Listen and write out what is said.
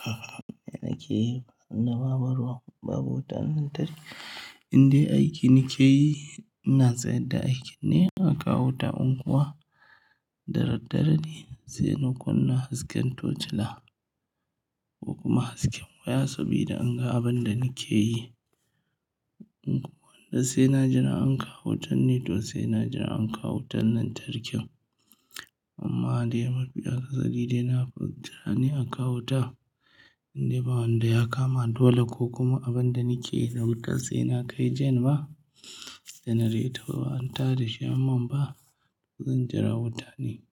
Yanda nake yi in de ba ruwa babu wuta lantarki. Inda aiki nake yi, ina sayar da aiki ne, an kawo wuta unguwa. Da daddare ne, sai na kunna hasken tocila ko kuma hasken waya saboda inga abin da nake yi. In kuma sai na jira an kawo wutan ne, to sai na jira an kawo wutan lantarkin. Amma dai mafi akasari de na fi jira ne an kawo wuta. Indai bawanda ya kama dole ko kuma abin da nake yi na wuta, sai na kai jan ba, janareta ba, an ta da shi an min ba. Zan jira wuta ne.